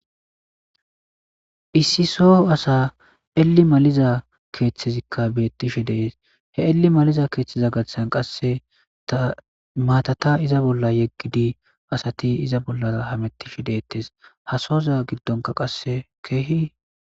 issi soo asa eli maliza keeththezikka beettishi dees he eli maliza keeththeza gathan qasse ta maatata iza bolla yeggidi asati iza bolla hamettishi deettes hasooza giddonka qasse keehi